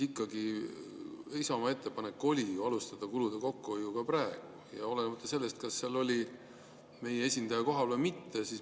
Isamaa ettepanek oli alustada kulude kokkuhoidu praegu ja olenemata sellest, kas seal oli meie esindaja kohal või mitte.